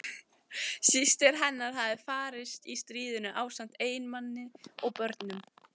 Systir hennar hafði farist í stríðinu ásamt eiginmanni og börnum.